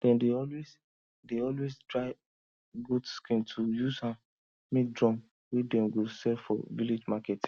dem dey always dey always dry goat skin to use am make drum wey dem go sell for village market